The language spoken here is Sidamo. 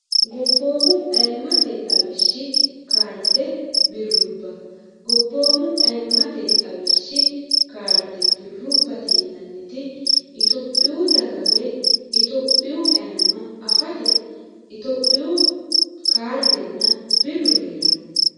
gobboomu ayimmate xawishshi kaarde birrubba gobboomu ayimmate xawishshi kaarde birrubbate yinanniti itophiyu dagga woy itophiyu ayimma afate itophiyu kaardenna birru hee'ranno